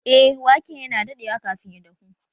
Eh, waken yana daɗewa kafin ya dahu